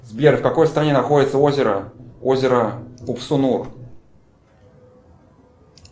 сбер в какой стране находится озеро озеро упсунур